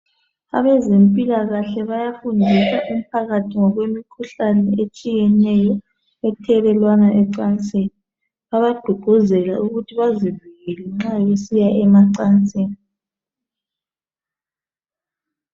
Abezempilakahle bayafundisa umphakathi ngokwemkhuhlane etshiyeneyo ethelelwana ecansini. Bayagqugquzela ukuthi bazivikele nxa besiya emacansini